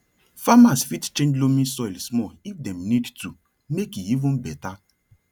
farmers fit change loamy soil small if dem need to make e even better